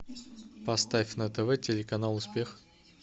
поставь на тв телеканал успех